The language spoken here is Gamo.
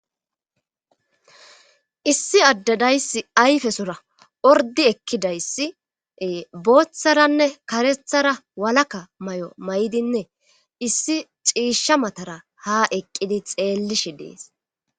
Issi addadayssi ayfesora ordi ekkidayssi booththaranne karethara walaka may7o may7dinne issi ciisha matara ha eqqidi xeellishi dees.